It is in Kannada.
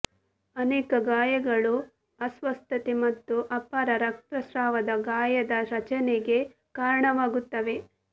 ಅನೇಕ ಗಾಯಗಳು ಅಸ್ವಸ್ಥತೆ ಮತ್ತು ಅಪಾರ ರಕ್ತಸ್ರಾವದ ಗಾಯದ ರಚನೆಗೆ ಕಾರಣವಾಗುತ್ತವೆ